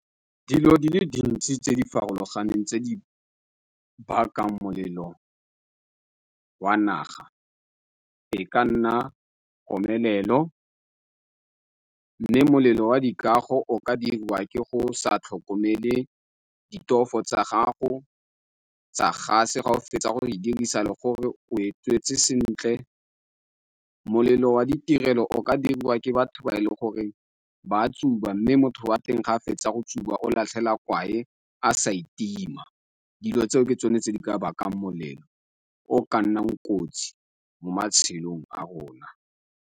Dilo di le dintsi tse di farologaneng tse di bakang molelo wa naga, e ka nna komelelo, mme molelo wa dikago o ka dirwa ke go sa tlhokomele ditofo tsa gago tsa gas-e ga o fetsa go e dirisa le gore o e tswetse sentle. Molelo wa ditirelo o ka diriwa ke batho ba e leng gore ba tsuba, mme motho wa teng ga a fetsa go tsuba a latlhela kwae a sa itima. Dilo tseo ke tsone tse di ka bakang molelo o ka nnang kotsi mo matshelong a rona.